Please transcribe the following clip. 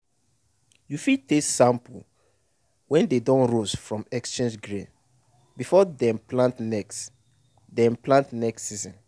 you fit taste sample wey dey don roast from exchanged grain before dem plant next dem plant next season